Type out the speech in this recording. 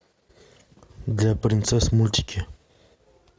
для принцесс мультики